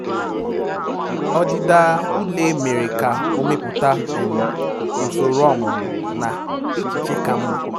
Ọdịda ule mere ka o mepụta usoro ọmụmụ na echiche ka mma